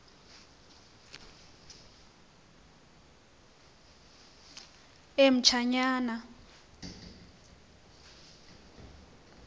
emtshanyana